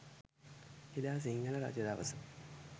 එදා සිංහල රජදවස